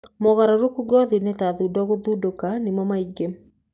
Mogarũrũku ngothi-inĩ ta thundo na gũtũnda nĩmo maingĩ.